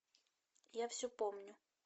я все помню